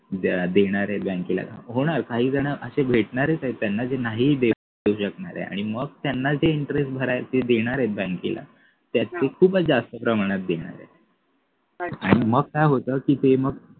देणारे बँकेला होणार काही जण अशे भेटणार आहे त्याना जे नाही देऊ शकणार आणि मग त्यांना ते interest भरायला ते देणार आहे बँकेला त्यात ते खूपच जास्त प्रमाणात देणार आहे आणि मग काय होत ते मग